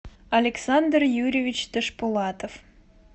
александр юрьевич ташпулатов